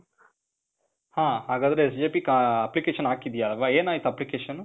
ಹಾ. ಹಾಗಾದ್ರೆ SJP ಆ, application ಹಾಕಿದ್ದೀಯ ಅಲ್ವ? ಏನಾಯ್ತು application?